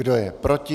Kdo je proti?